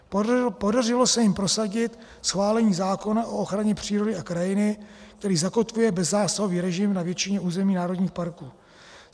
Podařilo se jim prosadit schválení zákona o ochraně přírody a krajiny, který zakotvuje bezzásahový režim na většině území národních parků.